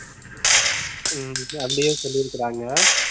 ஹம் அப்படியே சொல்லி இருக்கிறாங்க